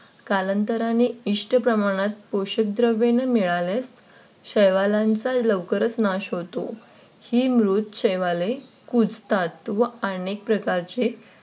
कालांतराने इष्ट प्रमाणात पोषक द्रव्य न मिळाल्यास शेवालाचा लवकरच नाश होतो. ही मृत शेवाले कुजतात व अनेक प्रकारचे